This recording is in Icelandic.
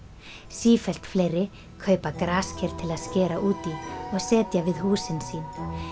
sífellt fleiri kaupa grasker til að skera út í og setja við húsin sín